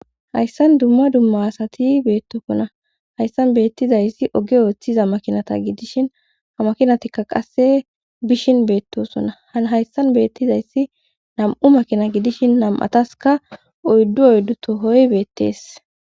Hayssan dumma dumma asati beettokkona hayssan beettizayssi oge ooththiza makinata gidishin ha makinatikka qasse bishin beettosonna hhayssan beettizayssi nam7u makina gidishin nam7ataska oyddu oyddu tohoy beettees